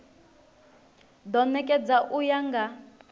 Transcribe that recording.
do nekedzwa u ya nga